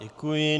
Děkuji.